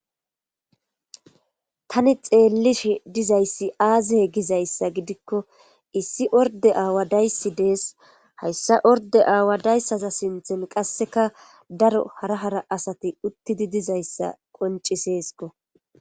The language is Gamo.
tani xeellis dizayssi aazihe gizayssa gidikko issi orde aawa dayssi dees hayssa orde aawa dayssaza sinthen qasseka daro hara hara asati uttidi dizayssa qonciseesko